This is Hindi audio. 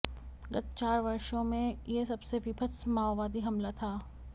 गत चार वर्षों में यह सबसे वीभत्स माओवादी हमला था